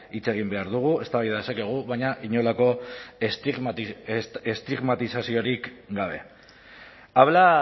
hitz egin behar dugu eztabaida dezakegu baina inolako estigmatizaziorik gabe habla